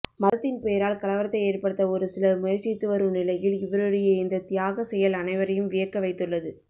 மதத்தின் பெயரால் கலவரத்தை ஏற்படுத்த ஒருசிலர் முயற்சித்து வரும் நிலையில் இவருடைய இந்த தியாக செயல் அனைவரையும் வியக்க வைத்துள்ளது